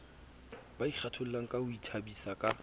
ba ikgathollangka ho ithabisa ka